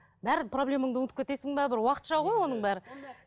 барлық проблемаңды ұмытып кетесің бе бір уақытша ғой оның бәрі